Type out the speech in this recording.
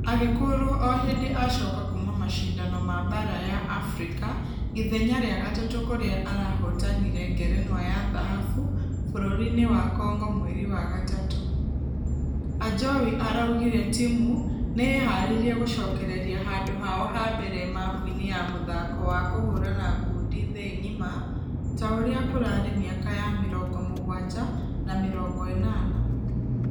Agĩkũrwo o hĩndĩ acoka kuuma mashidano m baara ya africa ithenya rĩa gatatũ kũrĩa arahotanire ngerenwa ya dhahabu bũrũri-inĩ wa congo mweri wa gatatũ. Ajowi araugire timũ nĩharĩirie gũcokereria handũ hao ha mbere mapu-inĩ ya mũthako wa kũhũrana ngundi thĩ ngima ta ũrĩa kũrarĩ mĩaka ya mĩrongo mũgwaja na mĩrongo ĩnana.